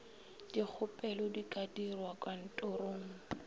dikgopelo di ka dirwa kantorong